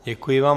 Děkuji vám.